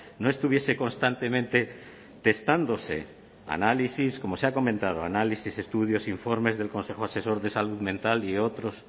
no estuviese constantemente testándose análisis como se ha comentado análisis estudios e informes del consejo asesor de salud mental y otros